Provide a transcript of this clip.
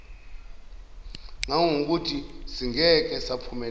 ngangokuthi singeke saphumelela